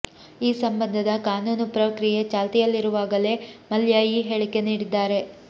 ಈ ಸಂಬಂಧದ ಕಾನೂನು ಪ್ರಕ್ರಿಯೆ ಚಾಲ್ತಿಯಲ್ಲಿರುವಾಗಲೇ ಮಲ್ಯ ಈ ಹೇಳಿಕೆ ನೀಡಿದ್ದಾರೆ